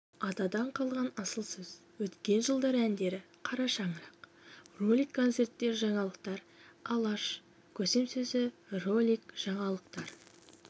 атадан қалған асыл сөз өткен жылдар әндері қара шаңырақ ролик концерттер жаңалыктар алаш көсемсөзі ролик жаңалықтар